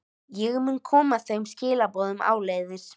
Ég mun koma þeim skilaboðum áleiðis.